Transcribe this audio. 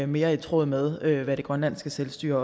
mere i tråd med hvad det grønlandske selvstyre